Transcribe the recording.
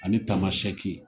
Ani Tamasɛki.